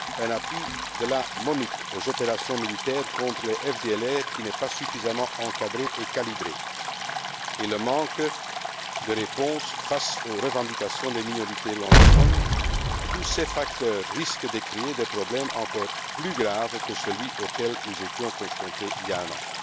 l'appui de la MONUC aux opérations militaires contre les FDLR qui n'est pas suffisamment encadré et calibré, et le manque de réponse face aux revendications des minorités rwandophones, sont des facteurs qui risquent de créer des problèmes encore plus graves que celui auquel nous étions confrontés il y a un